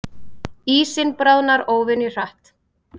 Ísinn bráðnar óvenju hratt